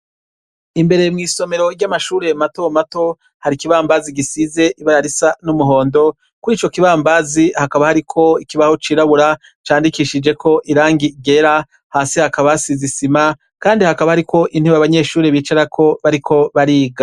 Imbere mwisomero ryamashure matomato hari ikibambazi ibara risa numuhondo kwico kibambazi hakaba hariko ikibaho cirabura candikishijeko irangi ryera, hasi hakaba hasize Isima Kandi hakaba hariko intebe abanyeshure bicarako bariko bariga.